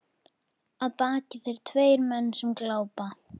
Að baki þér tveir menn sem glápa.